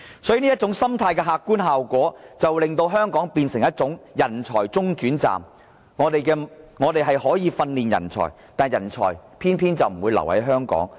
所以這種心態的客觀效果，令香港變成人才中轉站，以致我們訓練出來的人才，偏偏就不留在香港。